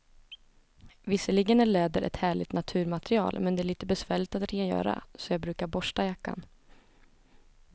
Visserligen är läder ett härligt naturmaterial, men det är lite besvärligt att rengöra, så jag brukar borsta jackan.